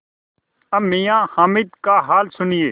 अब मियाँ हामिद का हाल सुनिए